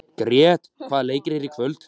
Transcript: Grét, hvaða leikir eru í kvöld?